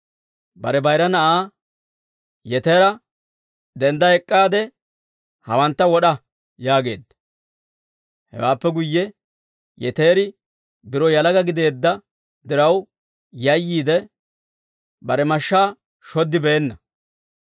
Bare bayira na'aa Yetera, «Dendda ek'k'aade, hawantta wod'a» yaageedda. Hewaappe guyye Yeteri biro yalaga gideedda diraw yayyiide, bare mashshaa shoddibeenna.